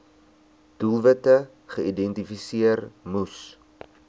doelwitte geïdentifiseer moes